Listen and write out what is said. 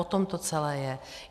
O tom to celé je.